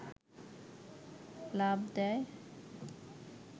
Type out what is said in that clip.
লাফ দেয়